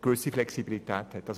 gewisse Flexibilität besteht.